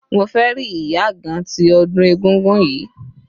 Mo fẹ́ rí ìyá àgan tí ọdún egúngún yìí.